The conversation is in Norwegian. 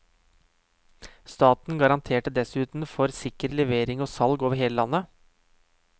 Staten garanterte dessuten for sikker levering og salg over hele landet.